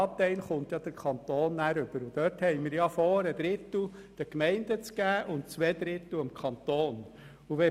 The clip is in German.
Davon beabsichtigen wir, einen Drittel an die Gemeinden weiterzugeben und zwei Drittel beim Kanton zu belassen.